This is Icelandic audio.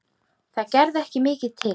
Það gerði ekki mikið til.